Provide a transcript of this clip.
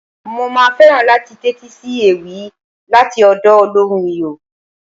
Mo máa fẹ́ràn láti tẹ́tí sí ewì láti ọ̀dọ̀ olóhùn Iyọ̀.